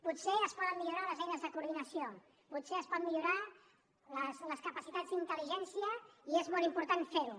potser es poden millorar les eines de coordinació potser es poden millorar les capacitats d’intel·ligència i és molt important fer ho